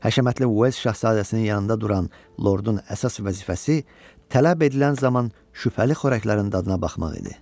Həşəmətli Uels şahzadəsinin yanında duran lordun əsas vəzifəsi tələb edilən zaman şübhəli xörəklərin dadına baxmaq idi.